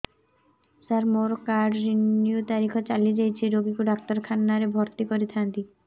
ସାର ମୋର card renew ତାରିଖ ଚାଲି ଯାଇଛି ରୋଗୀକୁ ଡାକ୍ତରଖାନା ରେ ଭର୍ତି କରିଥାନ୍ତି